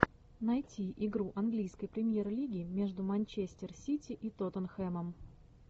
найти игру английской премьер лиги между манчестер сити и тоттенхэмом